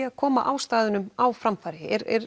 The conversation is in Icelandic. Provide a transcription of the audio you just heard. að koma ástæðunum á framfæri